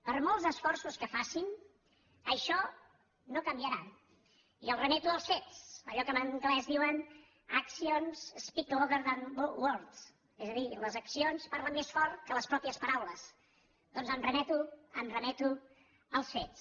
per molts esforços que facin això no canviarà i els remeto als fets allò que en anglès en diuen actions speak louder than wordsdir les accions parlen més fort que les pròpies paraules doncs em remeto m’hi remeto als fets